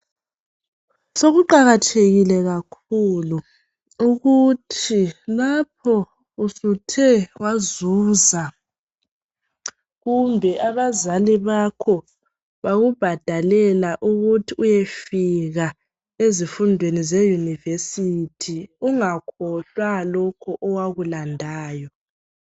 Sokuqakathekile kakhulu ukuthi lapho usuthe wazuza kumbe abazali bakho bakubhadalela ukuthi uyefika ezifundweni zeuniversity ungakhohlwa lokho owakulandayo.